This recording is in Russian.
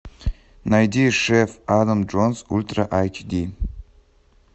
найди шеф адам джонс ультра айч ди